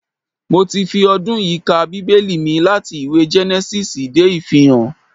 Mo ti fi ọdún yìí ka Bíbẹ́lì mi láti ìwé Gẹ́nẹ́sísì dé Ìfihàn